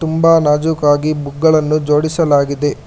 ತುಂಬ ನಾಜುಕಾಗಿ ಬುಕ್ ಗಳನ್ನು ಜೋಡಿಸಲಾಗಿದೆ.